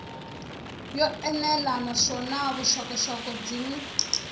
yo enela naswona vuxokoxoko byin